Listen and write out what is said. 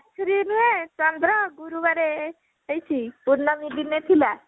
ବାଛୁରି ନୁହେଁ ଚନ୍ଦ୍ର ଗୁରୁବାରେ ହେଇଛି ପୂର୍ଣମି ଦିନେ ଥିଲା